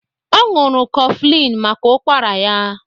Ọ ñụrụ Coughflin maka ụkwara ya